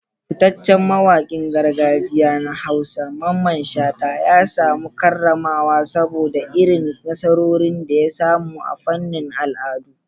Fitaccen mawakin gargajiya na Hausa, Mamman Shata, ya samu karramawa saboda irin nasarorin da ya samu a fannin al'adu.